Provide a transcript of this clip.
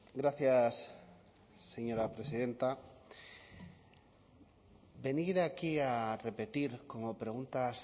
gracias señora presidenta venir aquí a repetir como preguntas